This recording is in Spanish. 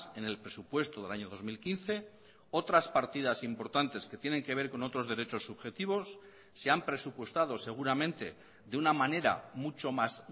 en el presupuesto del año dos mil quince otras partidas importantes que tienen que ver con otros derechos subjetivos se han presupuestado seguramente de una manera mucho más